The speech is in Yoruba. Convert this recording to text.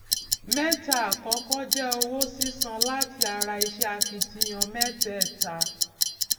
mẹta àkọkọ je owó sísan láti ara ìṣe akitiyan mẹtẹẹta